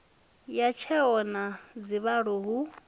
ha tsheo yo dzhiwaho hu